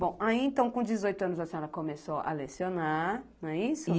Bom, aí então, com dezoito anos, a senhora começou a lecionar, não é isso?